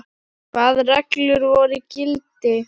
Hvaða reglur voru í gildi?